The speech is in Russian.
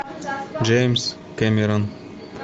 джеймс кэмерон